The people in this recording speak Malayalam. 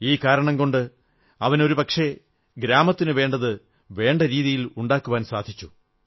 ഈ കാരണം കൊണ്ട് അവന് ഒരുപക്ഷേ ഗ്രാമത്തിനു വേണ്ടത് വേണ്ടരീതിയിൽ ഉണ്ടാക്കുവാൻ സാധിച്ചു